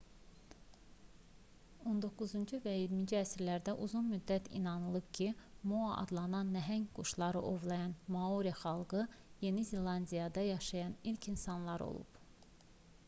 on doqquzuncu və iyirminci əsrlərdə uzun müddət inanılıb ki moa adlanan nəhəng quşları ovlayan maori xalqı yeni zelandiyada yaşayan ilk insanlar olub